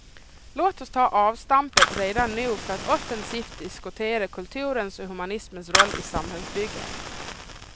Låt oss ta avstampet redan nu för att offensivt diskutera kulturens och humanismens roll i samhällsbygget.